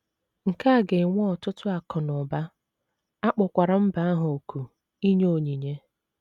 Nke a ga - ewe ọtụtụ akụ̀ na ụba, a kpọkwara mba ahụ òkù inye onyinye.